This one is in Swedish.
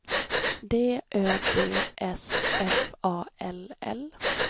D Ö D S F A L L